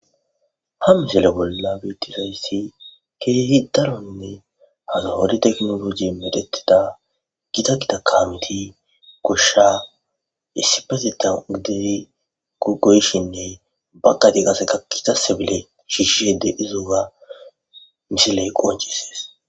Ha misile bolla betisayssi keehi daronne haza hodi teknologi medetida gida gidakkamiti gosha issipezeta gide gugoyshinne bakadi qaseka kitase bile shiishshede izoga misiley qoncisees.